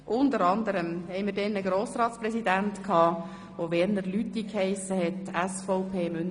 Unter anderem hatten wir einen Grossratspräsidenten, der Werner Lüthi hiess, SVP, Münsingen.